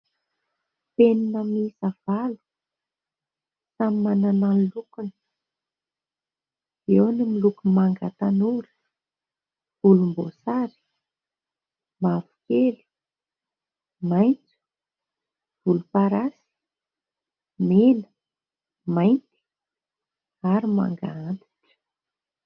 Penina miisa valo, samy manana ny lokony : eo ny miloko manga tanora, volomboasary, mavokely, maitso, volomparasy, mena, mainty ary manga antitra.